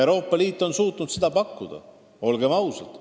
Euroopa Liit on suutnud rahu garanteerida, olgem ausad.